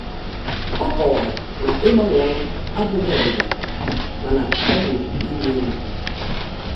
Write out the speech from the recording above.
Ọ kowara na ịgbanwe ọrụ abụghị ọdịda, mana ọ bụ ịrị elu.